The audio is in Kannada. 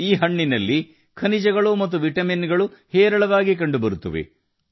ಈ ಹಣ್ಣಿನಲ್ಲಿ ಖನಿಜಗಳು ಮತ್ತು ವಿಟಮಿನ್ ಗಳು ಹೇರಳವಾಗಿ ಕಂಡುಬರುತ್ತವೆ